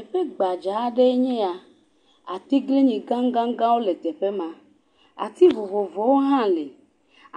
Teƒe gbadza aɖee nye ya. Atiglinyi gãgãwo le teƒe ma. Ati vovovowo hã le.